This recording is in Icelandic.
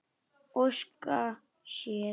Óska sér.